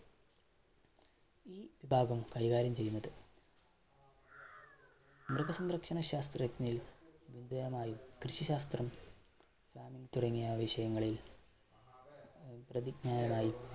ഈ ഭാഗം കൈകാര്യം ചെയ്യുന്നത്. മൃഗസംരക്ഷണ ശാസ്ത്രജ്ഞരിൽ കൃഷി ശാസ്ത്രം തുടങ്ങിയ വിഷയങ്ങളിൽ പ്രതിജ്ഞാനം ആയി